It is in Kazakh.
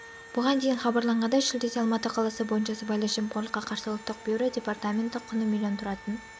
бұған дейін хабарланғандай шілдеде алматы қаласы бойынша сыбайлас жемқорлыққа қарсы ұлттық бюро департаменті құны млн тұратын